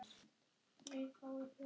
Svo liðu árin og tíminn.